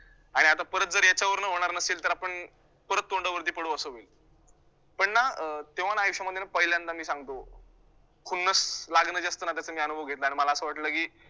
आणि आता परत जर याच्यावरनं होणार नसेल तर आपण परत तोंडावरती पडू असं होईल पण ना अं तेव्हा ना आयुष्यामध्ये ना पहिल्यांदा मी सांगतो खुन्नस लागणं जे असतं ना त्याचा मी अनुभव घेतला आणि मला असं वाटलं की